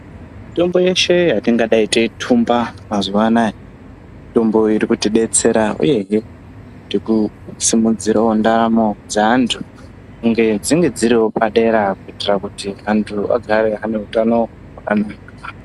Mitombo yeshe yetingadai teitumba mazuvaanaya, mitombo iri kuti kubetsera uyezve tiri kusimudzirawo ndaramo dzevanhu kuti dzivewo dziri padera kuti antu agare aneutano.